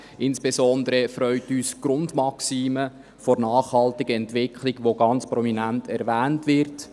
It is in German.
Insbesondere freut uns die Grundmaxime der nachhaltigen Entwicklung, welche ganz prominent erwähnt wird.